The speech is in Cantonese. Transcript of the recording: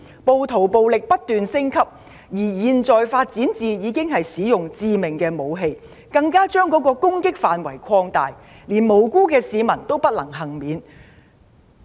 暴徒的暴力不斷升級，現在已發展至使用致命武器，更把攻擊範圍擴大，連無辜市民也不能幸免。